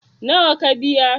nawa ka biya?